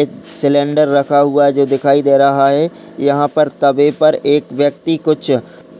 एक सिलेंडर रखा हुआ है जो दिखाई दे रहा है। यहां पर तवे पर एक व्यक्ति कुछ